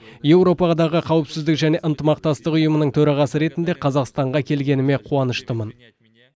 еуропадағы қауіпсіздік және ынтымақтастық ұйымының төрағасы ретінде қазақстанға келгеніме қуаныштымын